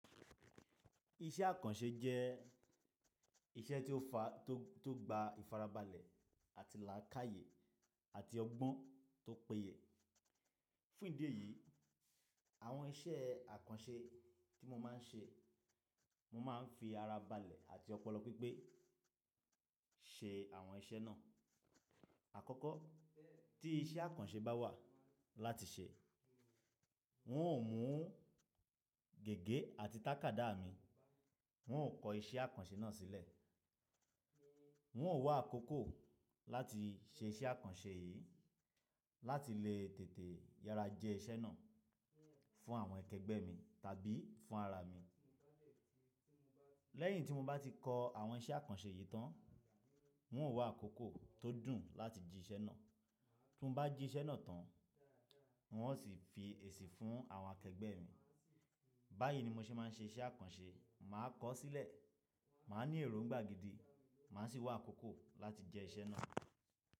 Iṣẹ́ àkànṣe jẹ́ iṣẹ́ tó gba ìfarabalẹ̀ àti làákàyè àti ọgbọ́n tó peye. Fún ìdí èyí, àwọn iṣẹ́ àkànṣe tí mo máa ń ṣe, mo máa ń fi ara balẹ̀ àti ọpọlọ pípé ṣe àwọn iṣẹ́ náà. Àkọ́kọ́ tí iṣẹ́ àkànṣe bá wà láti ṣe, wọn ò mú gègé àti tàkádá mi, wọn ò kọ iṣẹ́ àkànṣe náà sílẹ̀, wọn ò wá àkókò láti ṣe iṣẹ́ àkànṣe yìí láti lè tètè yára jẹ iṣẹ́ náà fún àwọn akẹgbẹ́ mi tàbí fún ara mi. Lẹ́yìn tí mo bá ti kọ àwọn iṣẹ́ àkànṣe yìí tán, wọn ò wá àkókò tó dùn láti jí iṣẹ́ náà. Bí mo bá jí iṣẹ́ náà tán, wọn ò sì fi èsì fún àwọn akẹgbẹ́ mi. Báyìí ni mo ṣe máa ń ṣe iṣẹ́ àkànṣe, màá kọ ọ́ sílẹ̀, màá ní èròǹgbà gidi, màá sì wá àkókò láti jẹ iṣẹ́ náà.